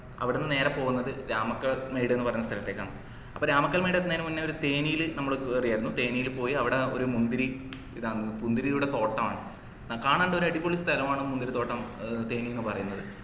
അവിടന്ന് നേരെ പോകുന്നത് രാമക്കൽമേട് ന്ന് പറഞ്ഞ സ്ഥലത്തേക്കാണ് അപ്പൊ രാമക്കൽമേട് എത്തുന്നതിനു മുന്നേ ഒരു തേനി ലു നമ്മള് കേറിയര്ന്നു തേനില് പോയി അവിടെ ഒരു മുന്തിരി ഇതാണ് മുന്തിരിയുടെ തോട്ടം ആണ് കാണേണ്ട ഒരു അടിപൊളി സ്ഥലം ആണ് മുന്തിരി തോട്ടം ഏർ തേനി ന്നു പറയുന്നത്